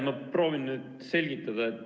Ma proovin nüüd selgitada.